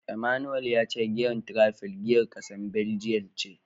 Emmanuel ya ce giyar Tiraifel giyar kasar Baljiyan ce.